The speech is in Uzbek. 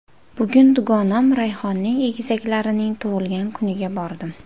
Bugun dugonam Rayhonning egizaklarining tug‘ilgan kuniga bordim.